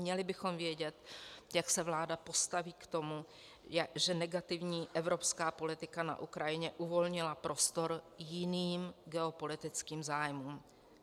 Měli bychom vědět, jak se vláda postaví k tomu, že negativní evropská politika na Ukrajině uvolnila prostor jiným geopolitickým zájmům.